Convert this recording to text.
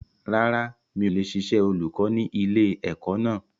Rárá, mi ò lè ṣiṣẹ́ olùkọ́ ni ilẹ̀ ẹ̀kọ́ náà